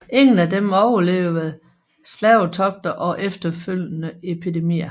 Ingen af dem overlevede slavetogter og efterfølgende epidemier